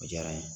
O diyara n ye